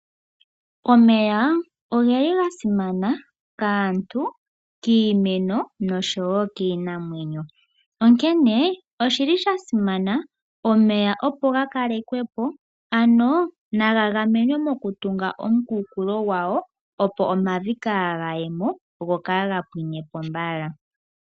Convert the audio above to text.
Omeya ogeli gasimana kaantu, kiimeno noshowo kiinamwenyo. Onkene oshi li sha simana omeya opo ga kalekwe po ano naga gamenwe mokutunga omukunkulo gwawo opo omavi kaaga ye mo go kaaga pwine po mbala.